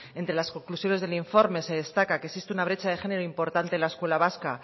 entre las conclusiones del informe se destaca que existe una brecha de género importante en la escuela vasca